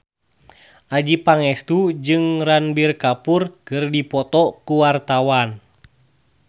Adjie Pangestu jeung Ranbir Kapoor keur dipoto ku wartawan